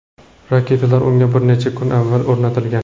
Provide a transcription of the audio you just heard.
Raketalar unga bir necha kun avval o‘rnatilgan.